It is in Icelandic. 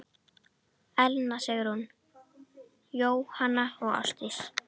Elna Sigrún, Jóhanna og Ásdís.